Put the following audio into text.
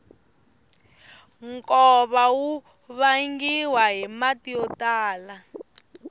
nkova wu vangiwa hi mati yo tala